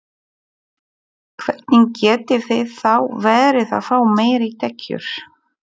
Hvernig getið þið þá verið að fá meiri tekjur?